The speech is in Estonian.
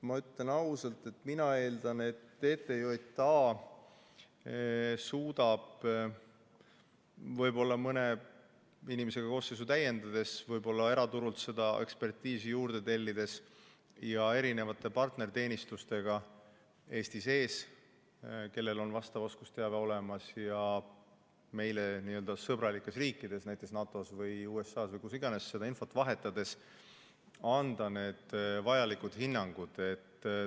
Ma ütlen ausalt, et mina eeldan, et TTJA suudab võib-olla mõne inimesega koosseisu täiendades, eraturult ekspertiisi juurde tellides, erinevate Eesti-siseste partnerteenistustega, kellel on vastav oskusteave olemas, ja meie suhtes sõbralike riikidega, näiteks NATO või USA-ga infot vahetades anda vajalikud hinnangud.